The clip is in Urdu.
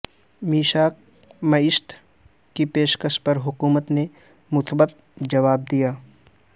میثاق معیشت کی پیشکش پر حکومت نے مثبت جواب دیا